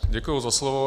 Děkuji za slovo.